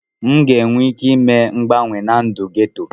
M ga-enwe ike ime mgbanwe na ndụ geto.